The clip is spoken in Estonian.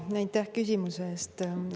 Aitäh küsimuse eest!